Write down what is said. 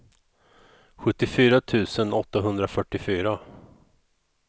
sjuttiofyra tusen åttahundrafyrtiofyra